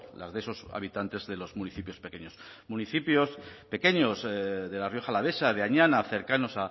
las de esos habitantes de los municipios pequeños municipios pequeños de la rioja alavesa de añana cercanos